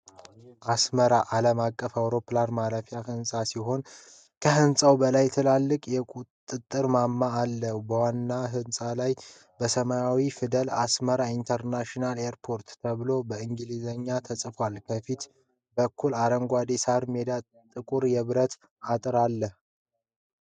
የአስመራ ዓለም አቀፍ አውሮፕላን ማረፊያ ሕንፃ ሲሆን ከህንጻው በላይ ትልቅ የቁጥጥር ማማ አለ። በዋናው ሕንፃ ላይ በሰማያዊ ፊደላት "ASMARA INTERNATIONAL AIRPORT" ተብሎ በእንግሊዝኛ ተጽፏል። ከፊት በኩል አረንጓዴ የሳር ሜዳና ጥቁር የብረት አጥር አለ።